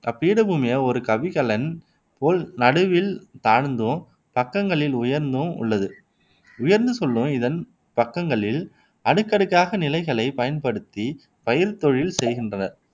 அப்பீடபூமியை ஒரு கவிகலன் போல் நடுவில் தாழ்ந்தும் பக்கங்களில் உயர்ந்தும் உள்ளது. உயர்ந்து செல்லும் இதன் பக்கங்களில் அடுக்கடுக்காக நிலைகளை பயன்படுத்திப் பயிர்த் தொழில் செய்கின்றனர்